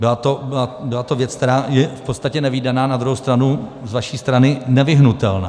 Byla to věc, která je v podstatě nevídaná, na druhou stranu z vaší strany nevyhnutelná.